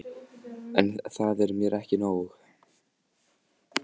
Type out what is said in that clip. En það er mér ekki nóg.